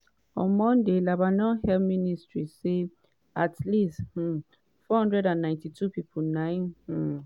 on monday lebanon health ministry say at least um 492 pipo na um